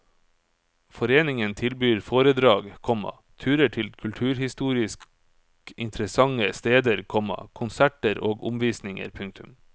Foreningen tilbyr foredrag, komma turer til kulturhistorisk interessante steder, komma konserter og omvisninger. punktum